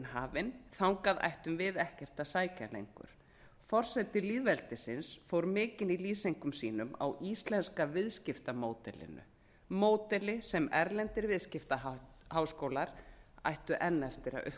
hafin þangað ættum við ekkert að sækja lengur forseti lýðveldisins fór mikinn í lýsingum sínum á íslenska viðskiptamódelinu módeli sem erlendir viðskiptaháskólar ættu enn eftir að